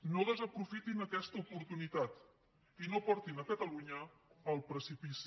no desaprofitin aquesta oportunitat i no portin catalunya al precipici